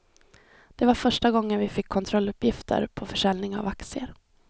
Det var första gången vi fick kontrolluppgifter på försäljning av aktier.